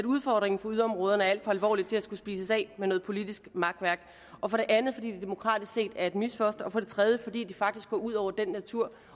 udfordringen for yderområderne er alt for alvorlig til at skulle spises af med noget politisk makværk og for det andet fordi det demokratisk set er et misfoster og for det tredje fordi det faktisk går ud over den natur